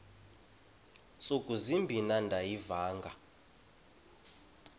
ntsuku zimbin andiyivanga